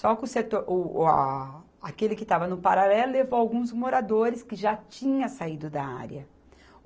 Só que o setor, o o a, aquele que estava no paralelo levou alguns moradores que já tinha saído da área.